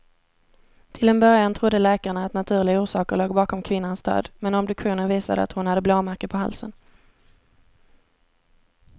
Till en början trodde läkarna att naturliga orsaker låg bakom kvinnans död, men obduktionen visade att hon hade blåmärken på halsen.